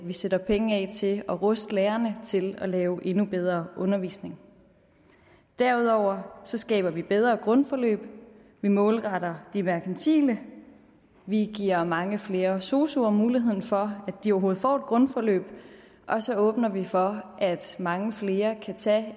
sætter penge af til at ruste lærerne til at lave endnu bedre undervisning derudover skaber vi bedre grundforløb vi målretter de merkantile vi giver mange flere sosuer muligheden for at de overhovedet får et grundforløb og så åbner vi for at mange flere kan tage